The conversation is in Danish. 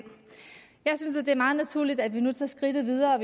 naturligt at vi nu tager skridtet videre